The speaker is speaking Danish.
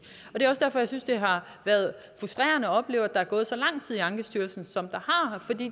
er også derfor jeg synes det har været frustrerende at opleve at der er gået så lang tid i ankestyrelsen som der